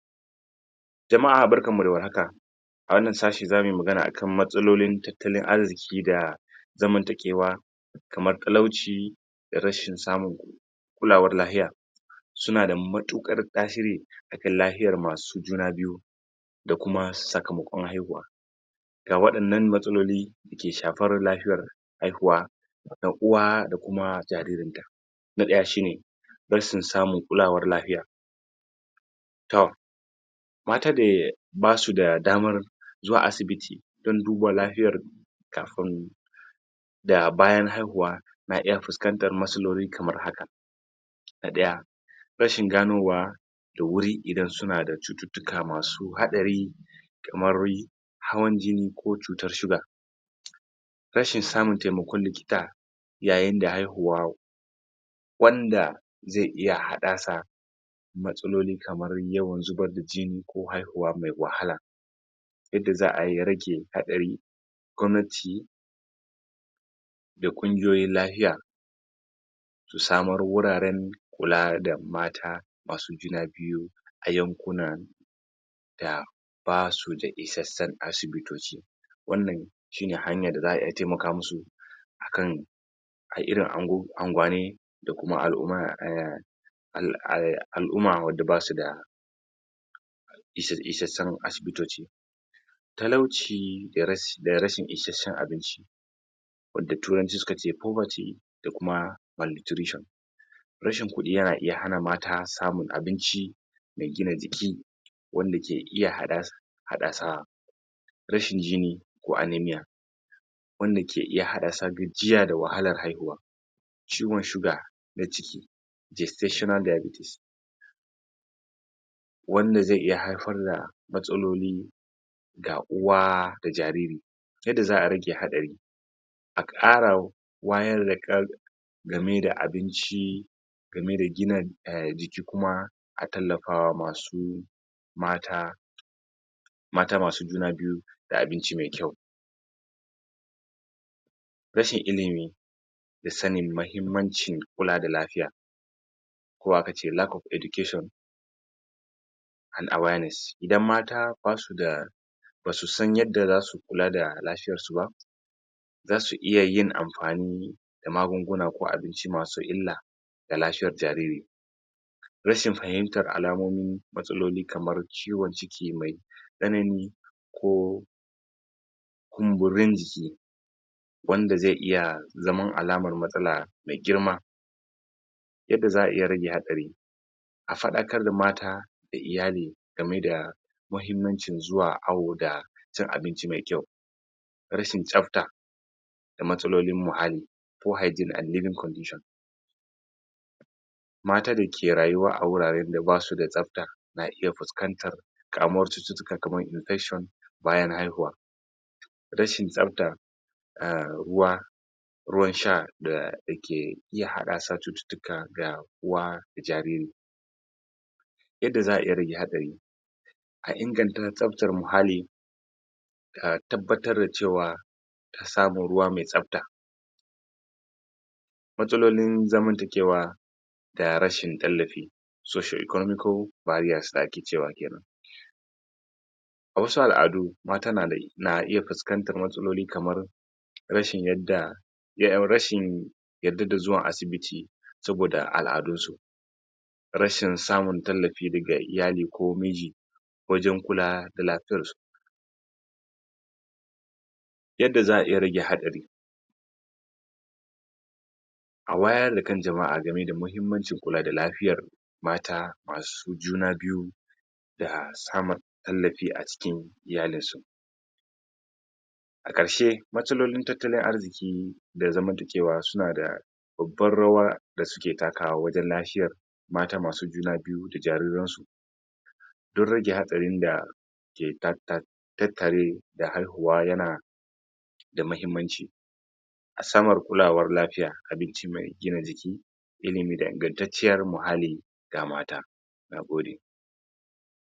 Jama'a barkanmu da war haka a wannan sashi za muyi magana akan matsalolin tattalin arziki da zamantakewa kamar talauci da rashin samun kulawar lahiya sunada matuƙar tasiri lahiyar masu juna biyu da kuma sakamakon haihuwa. Ga waɗannan matsaloli dake shafar lafiyar haihuwa ga uwa da kuma jaririn ta. Na ɗaya shine rashin samun kulawar lapiya toh mata da basu da damar zuwa asibiti dan duba lafiyar kafin da bayan haihuwa na iya fuskantar matsaloli kamar haka na ɗaya rashin ganowa da wuri idan suna da cututtuka masa haɗari kamar hawan jini ko cutar sugar rashin samun taimakon likita yayinda haihuwa wanda ze iya haddasa matsaloli kaman yawan zubar da jini ko haihuwa mai wahala. Yadda za'ayi ya rage hatsari gwanmati da ƙungiyoyin lahiya su samar wuraran kula da mata masu juna biyu a yankunan da basuda isasshen asibitoci wannan shine hanyar da za'a iya taimaka musu akan a irin ango angwane da kuma al'uma eh al eh al'uma wadda basuda isa isacchen asibitoci. Talauci da ras da rashin isasshen abinci wanda turanci sukace poverty da kuma mal nutrition, rashin kuɗi yana iya hana mata samun abinci mai gina jiki wanda ke iya hada haddasa rashin jini ko anaemia wanda ke iya haddasa gajiya da wahalar haihuwa. Ciwon sugar na ciki gestational diabetes wanda ze iya haifar da matsaloli ga uwa da jariri yadda za'a rage hatsari a ƙara wayar da kan gameda abinci gameda gina eh jiki kuma a tallapawa masu mata mata masu juma biyu da abinci mai ƙyau. Rashin ilimi da sanin mahimmancin kula da lafiya ko akace lack of education and awareness idan mata basuda basu san yadda zasu kula da lafiyar su ba zasuiya yin amfani da magunguna ko abinci masu illa ga lafiyar jariri. Rahin fahimtar alamomin matsaloli kamar ciwon ciki mai tsanani ko kumburin jiki wanda ze iya zaman alamar matsala mai girma. Yadda za'a iya rage hatsari a faɗakar da mata da iyali game da mahimmancin zuwa awo da cin abinci mai ƙya.u Rashin tsafta da matsalolin muhalli poor hygiene and living condition mata da ke rayuwa a wuraren da basuda tsafta na iya fuskantar kamuwar cututtuka kamar infection bayan haihuwa, rashin tsafta a ruwa ruwan sha da da ke iya haddasa cututtuka ga uwa da jariri. Yadda za'a iya rage hatsari a inganta tsaftar muhalli a tabbatar da cewa an samu ruwa mai tsafta. Matsalolin zamanta kewa da rashin tallafi socio-economical barriers da ake cewa kenan a wasu al'adu, mata nada na iya fiskantar matsaloli kamar rashin yadda rashin yadda da zuwan asibiti saboda al'adunsu. Rashin samun tallafi daga iyali ko miji wajan kula da lafiyar su. Yadda za'a iya rage hatsari a wayar da kan jama'a game da mahimmanci kula da lafiyar mata masu juna biyu da samun tallafi a cikin iyalinsu. A ƙarshe matsalolin tattalin arziki da zamanta kewa suna da babbar rawa da suke takawa wajan lahiyar mata masu juna biyu da jariran su duk rage hatsarin da ke ta ta tattare da haihuwa yana da mahimmanci a samar kulawar lafiya, abinci mai gina jiki, ilimi da ingantancciyar muhalli ga mata nagode.